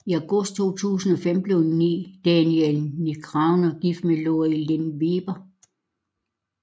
I august 2005 blev Daniel Negreanu gift med Lori Lin Weber